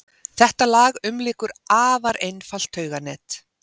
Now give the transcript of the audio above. Þetta lag umlykur afar einfalt tauganet.